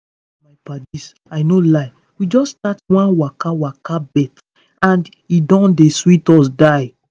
me and my padies i no lie we just start one waka waka bet and e don dey sweet us die.